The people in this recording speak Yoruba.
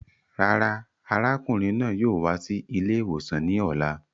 Rárá, arákùnrin náà yóò wá sí ilè ìwòsàn ní ọ̀la